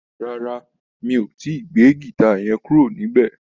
Rárá, mi ò tíì gbé gìta yẹn kúrò níbẹ̀?